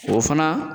O fana